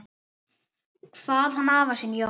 Kvað hann afa sinn, Jón